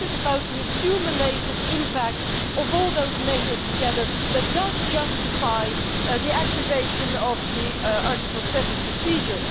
It is about the accumulated impact of all those measures together, which justifies the activation of the Article 7 procedure.